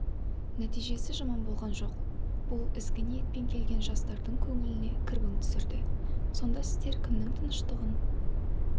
нәтижесі жаман болған жоқ бұл ізгі ниетпен келген жастардың көңіліне кірбің түсірді сонда сіздер кімнің тыныштығын